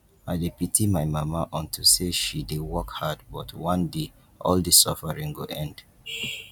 i dey pity my mama unto say she dey work hard but one day all dis suffering go end